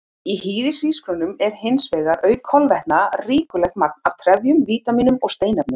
Í hýðishrísgrjónum er hins vegar, auk kolvetna, ríkulegt magn af trefjum, vítamínum og steinefnum.